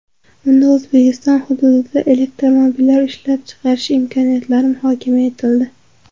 Unda O‘zbekiston hududida elektromobillar ishlab chiqarish imkoniyatlari muhokama etildi.